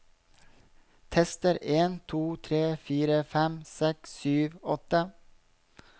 Tester en to tre fire fem seks sju åtte